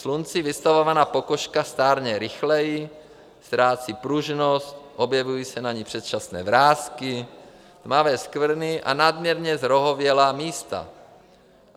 Slunci vystavovaná pokožka stárne rychleji, ztrácí pružnost, objevují se na ní předčasné vrásky, tmavé skvrny a nadměrně zrohovatělá místa.